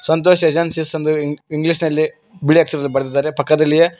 Santosh agency ಎಂದು English ನಲ್ಲಿ ಬಿಳಿ ಅಕ್ಷರದಲ್ಲಿ ಬರೆದಿದ್ದಾರೆ ಪಕ್ಕದಲ್ಲಿ--